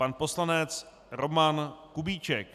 Pan poslanec Roman Kubíček.